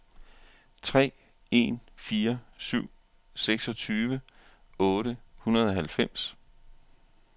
tre en fire syv seksogtyve otte hundrede og halvfems